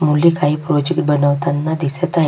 मुले काही प्रोजेक्ट बनवताना दिसत आहेत.